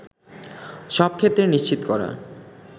সবক্ষেত্রে নিশ্চিত করা